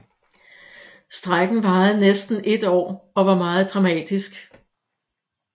Strejken varede næsten et år og var meget dramatisk